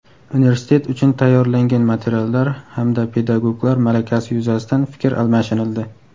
universitet uchun tayyorlangan materiallar hamda pedagoglar malakasi yuzasidan fikr almashinildi.